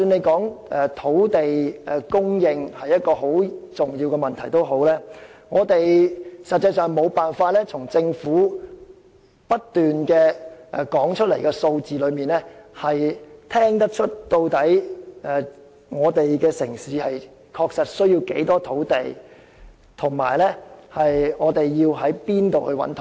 政府經常說土地供應是十分重要的問題，但我們實際上無法從政府不斷提出的數字之中，得悉這個城市確實需要多少土地，以及從何處可以覓得土地。